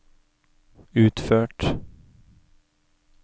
utført